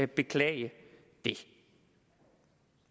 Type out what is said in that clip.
beklage det